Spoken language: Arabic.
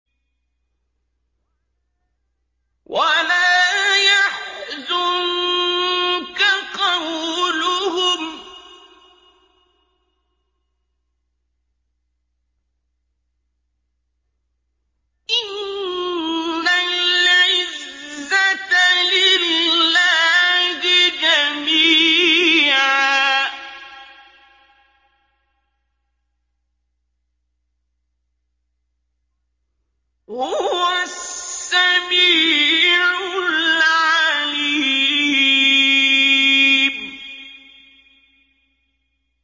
وَلَا يَحْزُنكَ قَوْلُهُمْ ۘ إِنَّ الْعِزَّةَ لِلَّهِ جَمِيعًا ۚ هُوَ السَّمِيعُ الْعَلِيمُ